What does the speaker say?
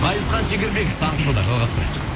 ғазизхан шекербеков таңғы шоуда жалғастырайық